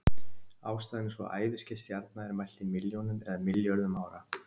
Ástæðan er sú að æviskeið stjarna er mælt í milljónum eða milljörðum ára.